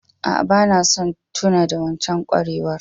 Aa, bana son tuna da wancan kwarewar.